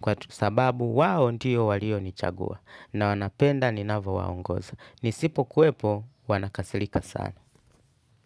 kwa sababu wao ndio walionichagua na wanapenda ninavowaongoza. Nisipo kuwepo wanakasirika sana.